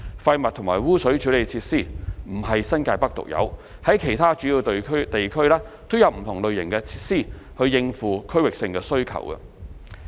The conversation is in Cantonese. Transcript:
廢物和污水處理設施不是新界北獨有，在其他主要地區均有不同類型設施以應付區域性需求。